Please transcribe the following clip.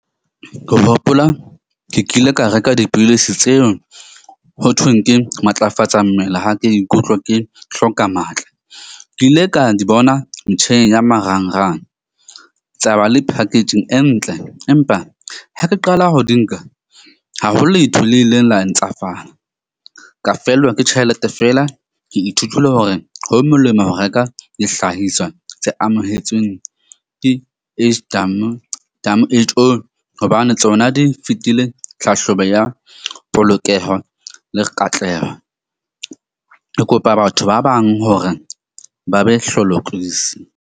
Ke hopola ke kile ka reka dipidisi tseo ho thweng ke matlafatsa mmele ha ke ikutlwa ke hloka matla. Ke ile ka di bona metjheng ya marangrang tsa ba le packaging e ntle. Empa ha ke qala ho di nka ha ho letho le ileng la ntsafala, ka fellwa ke tjhelete feela. Ke ithutile hore ho molemo ho reka dihlahiswa tse amohetsweng ke hobane tsona di fitile tlhahlobo ya polokeho le katleho. Ke kopa batho ba bang hore ba be hlolokisi.